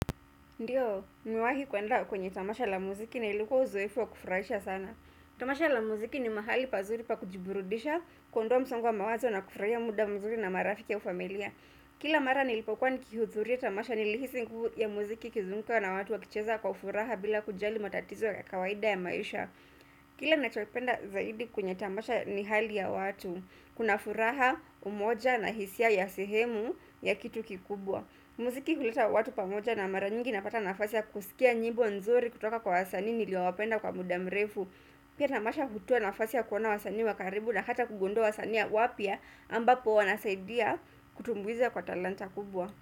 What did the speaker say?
Ndiyo, nimewahi kuenda kwenye tamasha la muziki na ilikuwa uzoefu wa kufurahisha sana. Tamasha la muziki ni mahali pazuri pa kujiburudisha, kuondoa msongo wa mawazo na kufurahia muda mazuri na marafiki au familia. Kila mara nilipokwa nikihudhuria tamasha nilihisi nguvu ya muziki ikizunguka na watu wakicheza kwa furaha bila kujali matatizo ya kawaida ya maisha. Kile nachoipenda zaidi kwenye tamasha ni hali ya watu, kuna furaha, umoja na hisia ya sehemu ya kitu kikubwa. Muziki huleta watu pamoja na mara nyingi napata nafasi ya kusikia nyimbo nzuri kutoka kwa wasanii niliowapenda kwa muda mrefu. Pia tamasha hutoa nafasi ya kuona wasanii wa karibu na hata kugundua wasania wapya ambapo wanasaidia kutumbuiza kwa talanta kubwa.